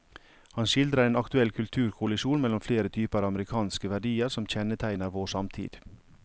Han skildrer en aktuell kulturkollisjon mellom flere typer amerikanske verdier som kjennetegner vår samtid.